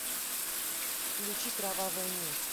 включи кровавая месть